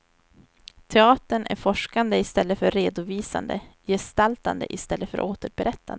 Teatern är forskande i stället för redovisande, gestaltande i stället för återberättande.